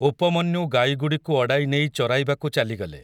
ଉପମନ୍ୟୁ ଗାଈଗୁଡ଼ିକୁ ଅଡ଼ାଇ ନେଇ ଚରାଇବାକୁ ଚାଲିଗଲେ ।